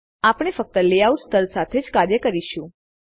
આપણે ફક્ત લેયઆઉટ સ્તર સાથે જ કાર્ય કરીશું